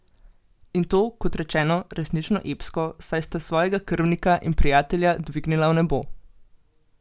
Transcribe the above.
In to, kot rečeno, resnično epsko, saj sta svojega krvnika in prijatelja dvignila v nebo.